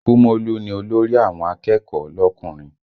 Kúmólú ni olórí àwọn akẹ́kọ̀ọ́ lọkùnrin